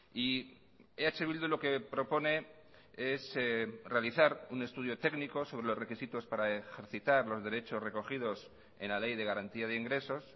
y eh bildu lo que propone es realizar un estudio técnico sobre los requisitos para ejercitar los derechos recogidos en la ley de garantía de ingresos